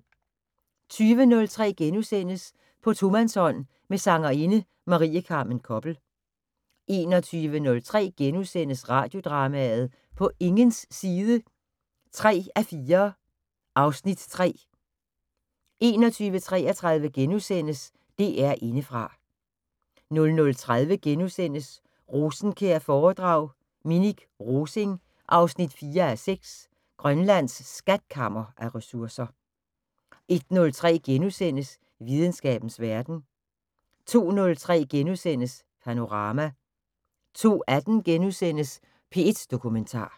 20:03: På tomandshånd med sangerinde Marie Carmen Koppel * 21:03: Radiodrama: På ingens side 3:4 (Afs. 3)* 21:33: DR Indefra * 00:30: Rosenkjær-foredrag: Minik Rosing 4:6 - Grønlands skatkammer af ressourcer * 01:03: Videnskabens Verden * 02:03: Panorama * 02:18: P1 Dokumentar *